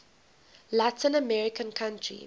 latin american country